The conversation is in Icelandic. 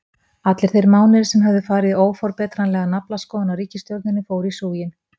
Allir þeir mánuðir sem höfðu farið í óforbetranlega naflaskoðun á ritstjórninni fóru í súginn.